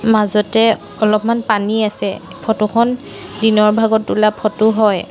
মাজতে অলপমান পানী আছে ফটো খন দিনৰ ভাগত তোলা ফটো হয়।